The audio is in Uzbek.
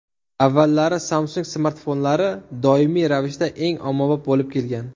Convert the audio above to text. Avvallari Samsung smartfonlari doimiy ravishda eng ommabop bo‘lib kelgan.